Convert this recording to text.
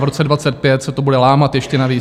V roce 2025 se to bude lámat ještě navíc.